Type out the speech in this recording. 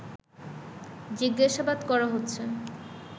জিজ্ঞাসাবাদ করা হচ্ছে